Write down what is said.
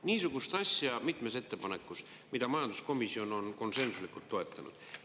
Niisugune asi mitmes ettepanekus, mida majanduskomisjon on konsensuslikult toetanud.